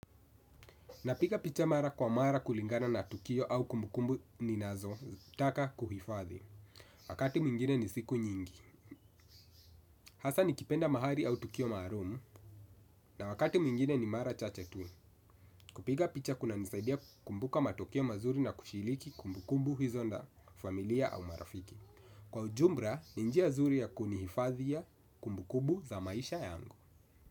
Napiga picha mara kwa mara kulingana na tukio au kumbukumbu ninazo taka kuhifadhi. Wakati mwingine ni siku nyingi. Hasa nikipenda mahali au tukio maalum na wakati mwingine ni mara chache tu. Kupiga picha kuna nisaidia kumbuka matukio mazuri na kushiriki kumbukumbu huizonda familia au marafiki. Kwa ujumbra, ninjia zuri ya kunihifadhi ya kumbukubu za maisha yango.